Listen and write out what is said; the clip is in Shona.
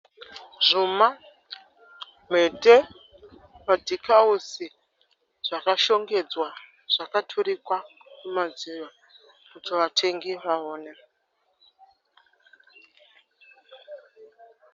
Zvuma, mhete, madhikawuzi zvakashongedzwa zvakaturikwa kumadziro kuti vatengi vawone.